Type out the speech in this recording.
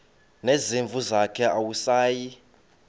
nezimvu zakhe awusayi